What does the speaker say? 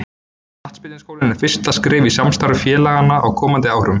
Knattspyrnuskólinn er fyrsta skrefið í samstarfi félaganna á komandi árum.